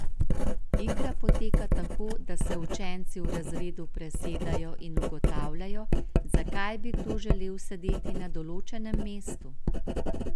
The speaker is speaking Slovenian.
Igra poteka tako, da se učenci v razredu presedajo in ugotavljajo, zakaj bi kdo želel sedeti na določenem mestu.